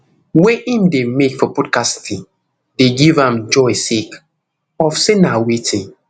wey im dey make for podcasting dey give am joy sake of say na wetin